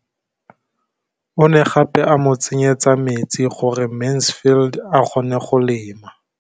O ne gape a mo tsenyetsa metsi gore Mansfield a kgone go lema.